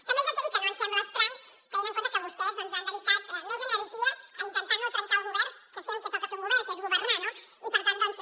també els hi haig de dir que no ens sembla estrany tenint en compte que vostès han dedicat més energia a intentar no trencar el govern que a fer el que toca fer a un govern que és governar no i per tant doncs